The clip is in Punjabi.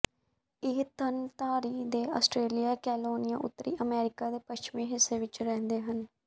ਇਹ ਥਣਧਾਰੀ ਦੇ ਆਸਟ੍ਰੇਲੀਆ ਕਲੋਨੀਆ ਉੱਤਰੀ ਅਮਰੀਕਾ ਦੇ ਪੱਛਮੀ ਹਿੱਸੇ ਵਿਚ ਰਹਿੰਦੇ ਹਨ